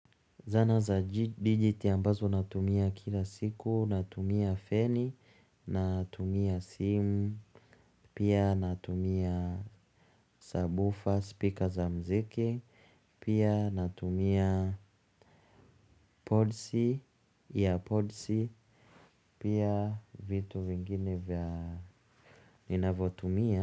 Zana za digital ambazo natumia kila siku, natumia feni, natumia simu, pia natumia sabufa, spika za mziki, pia natumia podsi, ear podsi, pia vitu vingine vya ninavotumia.